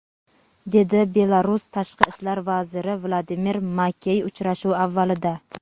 dedi Belarus tashqi ishlar vaziri Vladimir Makey uchrashuv avvalida.